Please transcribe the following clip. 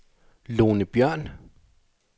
Lone Bjørn